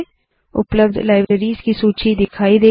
उपलब्ध लैब्ररीज़ की सूची दिखाई देगी